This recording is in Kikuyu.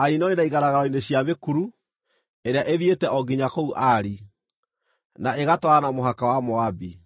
na igaragaro-inĩ cia mĩkuru ĩrĩa ithiĩte o nginya kũu Ari, na ĩgatwarana na mũhaka wa Moabi.”